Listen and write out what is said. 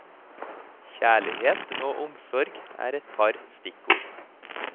Kjærlighet og omsorg er et par stikkord.